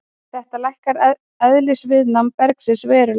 Þetta lækkar eðlisviðnám bergsins verulega.